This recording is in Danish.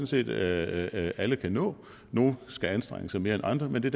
set at alle kan nå nogle skal anstrenge sig mere end andre men det